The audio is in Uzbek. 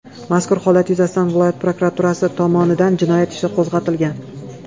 Mazkur holat yuzasidan viloyat prokuraturasi tomonidan jinoyat ishi qo‘zg‘atilgan.